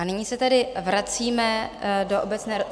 A nyní se tedy vracíme do obecné...